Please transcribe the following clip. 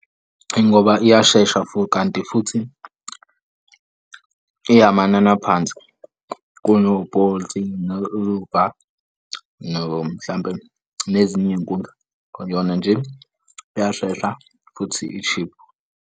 Ingoba iyashesha futhi. Kanti futhi iyamanana phansi kuno-Bolt no-Uber. Mhlampe nezinye iy'nkundla kuyona nje iyashesha futhi ishibhu.